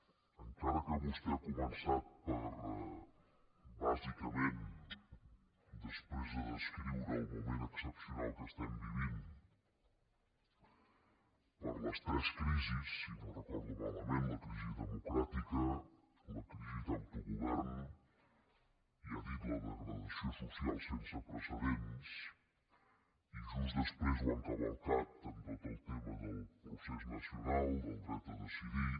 encara que vostè ha començat per bàsicament després de descriure el moment excepcional que estem vivint les tres crisis si no ho recordo malament la crisi democràtica la crisi d’autogovern i ha dit la degradació social sense precedents i just després ho ha encavalcat amb tot el tema del procés nacional del dret a decidir